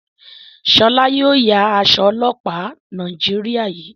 Shola yóò yá Aṣọ ọlọpa Nàìjíríà yí.